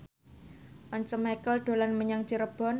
Once Mekel dolan menyang Cirebon